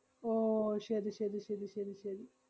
ഓ, ശെരി ശെരി ശെരി ശെരി ശെരി.